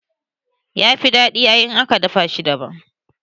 Yafi daɗi ai in aka haɗa shi daban